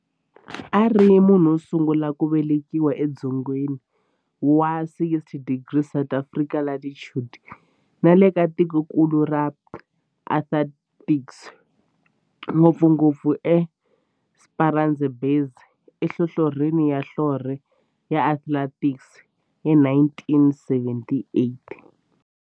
A ri munhu wosungula ku velekiwa e dzongeni wa 60 degrees south latitude nale ka tikonkulu ra Antarctic, ngopfungopfu eEsperanza Base enhlohlorhini ya nhlonhle ya Antarctic hi 1978.